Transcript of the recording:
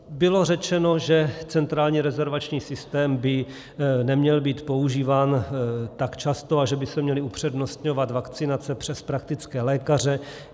Bylo řečeno, že centrální rezervační systém by neměl být používán tak často a že by se měly upřednostňovat vakcinace přes praktické lékaře.